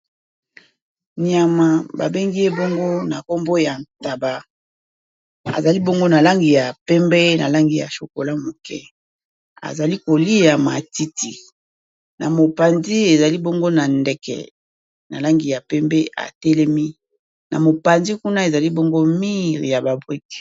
Nyama babengi ye bongo na nkombo ya ntaba azali bongo na langi ya pembe na langi ya chokola moke azali kolia matiti na mopanzi ezali bongo na ndeke na langi ya pembe atelemi na mopanzi kuna ezali bongo mire ya ba brique.